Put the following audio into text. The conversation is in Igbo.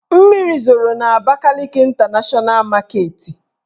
Mmiri zoro n' Abakaliki Ịntanashọna maketi